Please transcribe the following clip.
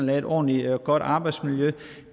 lave et ordentligt og godt arbejdsmiljø